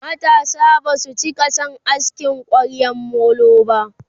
matasa Basu cika San asking kwaryan molo ba